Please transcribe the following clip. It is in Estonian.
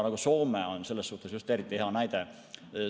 Soome on just eriti hea näide.